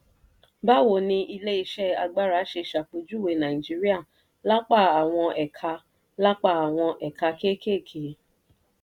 "báwo ni ilé-iṣẹ́ agbára ṣe ṣàpèjúwe nàìjíríà lápá àwọn ẹ̀ka lápá àwọn ẹ̀ka kéékèèké?"